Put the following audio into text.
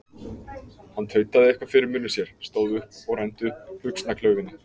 Hann tautaði eitthvað fyrir munni sér, stóð upp og renndi upp buxnaklaufinni.